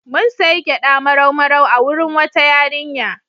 Mun sayi gyaɗa marau-marau a wurin wata yarinya.